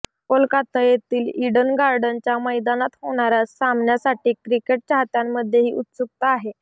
कोलकाता येथील ईडन गार्डनच्या मैदानात होणाऱ्या सामन्यासाठी क्रिकेट चाहत्यांमध्येही उत्सुकता आहे